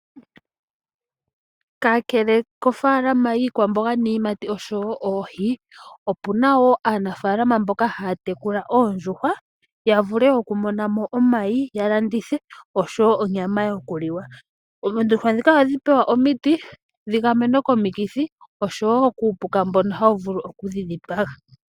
Kakele kofaalama yiikwamboga, iiyimati, oshowo oohi opena aanafalama mboka haya tekula oondjuhwa ya mone omayi ya landithe noshowo onyama yokuliwa. Oondjuhwa dhino ohadhi pewa omiti dhi dhi gamenwe komikithi oshowo kuupuka mbono hawu vulu okudhi dhipaga.